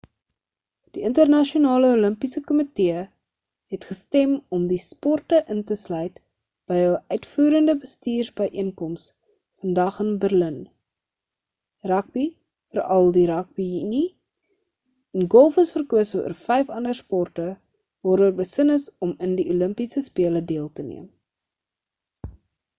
die internasionale olimpiese kommitee het gestem om die sporte in te sluit by hul uitvoerende bestuursbyeenkoms vandag in berlyn rugby veral die rugby unie en golf is verkose oor vyf ander sporte waaroor besin is om in die olimpiese spele deel te neem